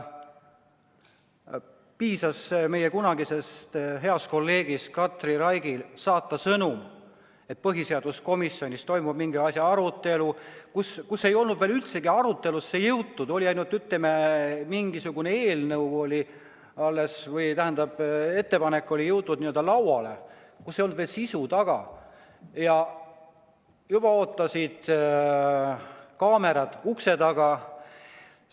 Piisas meie kunagisel heal kolleegil Katri Raigil saata sõnum, et põhiseaduskomisjonis toimub mingi asja arutelu, kuigi see ei olnud üldse arutelusse jõudnudki, oli ainult mingisugune eelnõu või, tähendab, ettepanek oli jõudnud n-ö lauale, sisu ei olnud veel taga, kui juba ootasid kaamerad ukse taga.